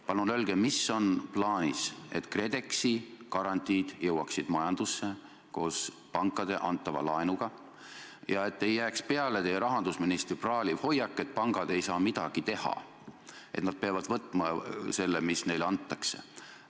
Palun öelge, mis on plaanis, et KredExi garantiid jõuaksid koos pankade antava laenuga majandusse ja ei jääks peale teie rahandusministri praaliv hoiak, et pangad ei saa midagi teha, et nad peavad võtma selle, mis neile antakse.